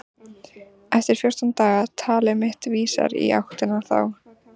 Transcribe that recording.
Eftir fjórtán daga- talið mitt vísar í áttina þá.